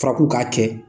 F'a k'u k'a kɛ